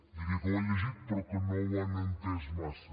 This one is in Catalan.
diria que ho han llegit però que no ho han entès massa